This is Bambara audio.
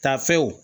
Tafew